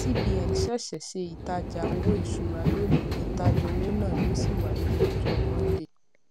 cbn ṣẹṣẹ ṣe ìtajà owó ìṣúra lónìí ìtajà owó náà yóò sì wáyé ní ọjọ monday